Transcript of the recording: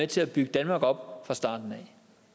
til at bygge danmark op fra starten